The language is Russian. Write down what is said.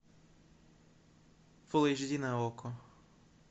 фул эйч ди на окко